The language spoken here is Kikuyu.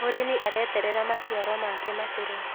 Mũrĩmi areterera maciaro make makũre